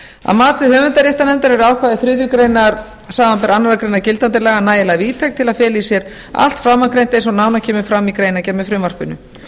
að mati höfundaréttarnefndar eru ákvæði þriðju grein samanber aðra grein gildandi laga nægilega víðtæk til að fela í sér allt framangreint eins og nánar kemur fram í greinargerð með frumvarpinu